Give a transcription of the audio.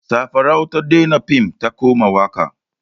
Safarau ta daina fim ta koma waƙa.